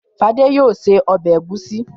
Fadé yóò se ọbẹ̀ ẹ̀gúsí.